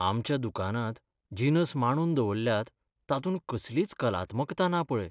आमच्या दुकानांत जिनस मांडून दवल्ल्यात तातूंत कसलीच कलात्मकता ना पळय.